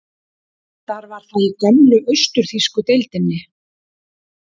Reyndar var það í gömlu austur-þýsku deildinni.